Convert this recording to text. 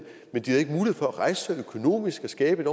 for at rejse sig økonomisk og skabe et